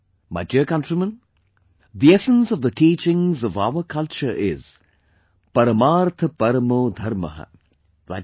My dear countrymen, the essence of the teachings of our culture is 'Parmarth Paramo Dharmah' i